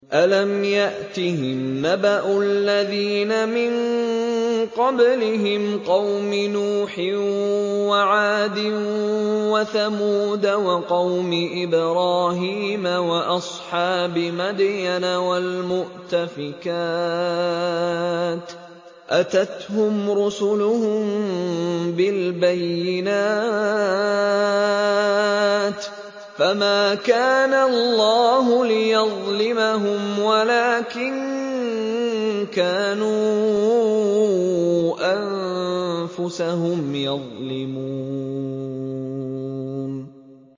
أَلَمْ يَأْتِهِمْ نَبَأُ الَّذِينَ مِن قَبْلِهِمْ قَوْمِ نُوحٍ وَعَادٍ وَثَمُودَ وَقَوْمِ إِبْرَاهِيمَ وَأَصْحَابِ مَدْيَنَ وَالْمُؤْتَفِكَاتِ ۚ أَتَتْهُمْ رُسُلُهُم بِالْبَيِّنَاتِ ۖ فَمَا كَانَ اللَّهُ لِيَظْلِمَهُمْ وَلَٰكِن كَانُوا أَنفُسَهُمْ يَظْلِمُونَ